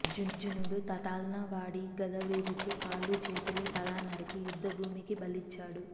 అర్జునుడు తటాల్న వాడి గద విరిచి కాళ్లూ చేతులూ తలా నరికి యుద్ధభూమికి బలిచ్చాడు